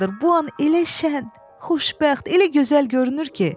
Bu an elə şən, xoşbəxt, elə gözəl görünür ki.